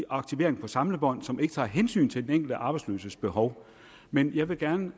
aktivering på samlebånd som ikke tager hensyn til den enkelte arbejdsløses behov men jeg vil gerne